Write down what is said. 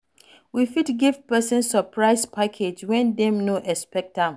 You fit give person surprise package when dem no expect am